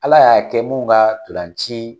Ala y'a kɛ mun ka tolanci.